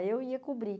Aí eu ia cobrir.